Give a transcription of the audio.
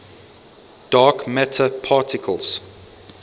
dark matter particles